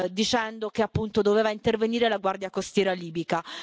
dicendo che appunto doveva intervenire la Guardia Costiera libica.